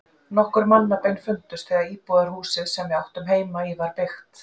Nokkur mannabein fundust þegar íbúðarhúsið, sem við áttum heima í, var byggt.